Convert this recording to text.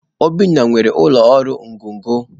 Obinna nwere ụlọ ọrụ ngọngọ